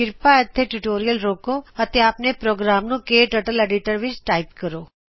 ਕ੍ਰਿਪਾ ਇਥੇ ਟਯੂਟੋਰਿਅਲ ਰੋਕੋ ਅਤੇ ਆਪਨੇ ਕਟਰਟਲੀਡੀਟਰ ਵਿੱਚ ਪ੍ਰੋਗਰਾਮ ਨੂੰ ਟਾਇਪ ਕਰੋਂ